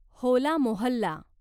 Hola Mohalla